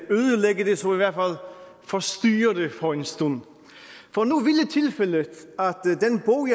så i hvert fald forstyrre det for en stund for nu ville tilfældet